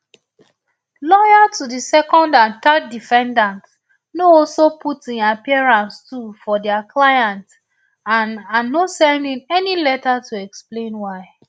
lawyer to di second and third defendants no also put in appearance too for dia clients and and no send in any letter to explain why